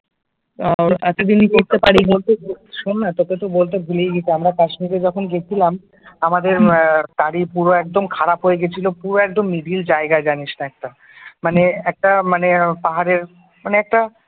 শোন না তোকে তো বলতে ভুলেই গেছি, আমরা কাশ্মীরে যখন গেছিলাম আমাদের গাড়ি পুরো একদম খারাপ হয়ে গেছিল পুরো একদম মিডিল জায়গাই জানিস না একটা মানে একটা মানে পাহাড়ের মানে একটা